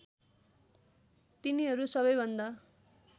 तिनीहरू सबैभन्दा